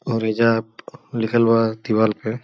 और एइजा लिखल बा दीवाल पे।